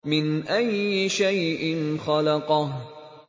مِنْ أَيِّ شَيْءٍ خَلَقَهُ